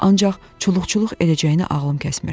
Ancaq çuluqçuluq edəcəyini ağlım kəsmirdi.